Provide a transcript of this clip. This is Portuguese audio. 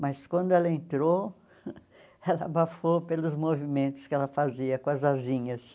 Mas quando ela entrou, ela abafou pelos movimentos que ela fazia com as asinhas.